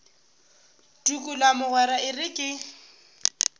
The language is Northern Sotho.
tukula mogwera e re ke